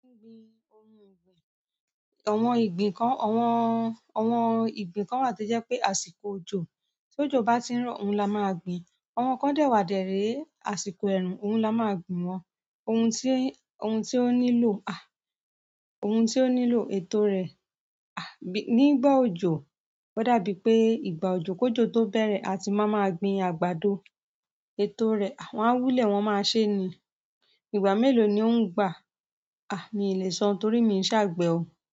Gbìn ohun ìgbìn. Àwọn ìgbìn kan, àwọn, àwọn ìgbìn kan wà tí jẹ́ pé àsìkò òjò. Tí òjò bá ti ń rọ̀, òhun la máa gbìn. Àwọn kan dẹ̀ wá dẹ̀ ré, àsìkò ẹ̀rùn, òhun la máa gbìn wọ́n. Ohun tí, ohun tí ó nílò, ah, ohun tí ó nílò ètò rẹ̀, ah, nígbà òjò. Ódàbí pé ìgbà òjò, kí òjò tó bẹ̀rẹ̀, a ti máa máa gbin àgbàdo. Ètò rẹ̀, wọ́n á wúlẹ̀ wọn máa ṣe ni. Ìgbà mélòó ni ó ń gbà? Mi ǹ lèsọ, torí mi ò è se àgbẹ̀.